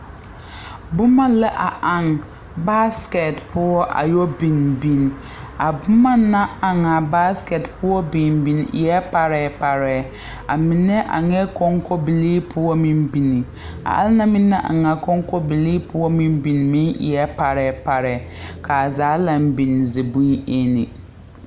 Boma la a eŋ baasikɛt poɔ yɛ biŋ biŋ a boma na eŋ a baasikɛt poɔ biŋ biŋ eɛ parɛɛparɛɛ a mine eŋɛɛ kɔŋkɔbilii poɔ biŋ anaŋ na eŋ a kɔŋkɔbilii poɔ biŋ meŋ eɛ parɛɛ ka a zaa laŋ biŋ zibonyene.